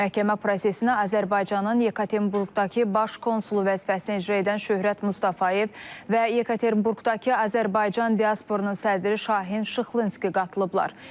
Məhkəmə prosesinə Azərbaycanın Yekaterinburqdakı baş konsulu vəzifəsini icra edən Şöhrət Mustafayev və Yekaterinburqdakı Azərbaycan diasporunun sədri Şahin Şıxlınski qatılıblar.